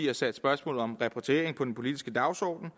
har sat spørgsmålet om repatriering på den politiske dagsordenen